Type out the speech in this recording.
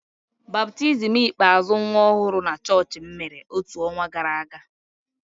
Baptizim ikpeazụ nwa ọhụrụ na chọọchị m mere otu ọnwa gara aga.